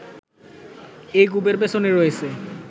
এই কূপের পেছনে রয়েছে